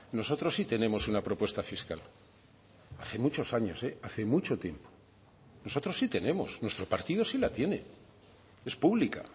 nosotros sí tenemos una propuesta fiscal hace muchos años hace mucho tiempo nosotros sí tenemos nuestro partido sí la tiene es pública